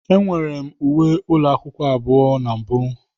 Enwere m uwe ụlọ akwụkwọ abụọ na mbụ.